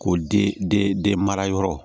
O den den mara yɔrɔ